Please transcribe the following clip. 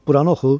Buranı oxu.